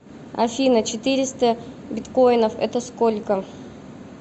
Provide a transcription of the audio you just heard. афина четыреста биткоинов это сколько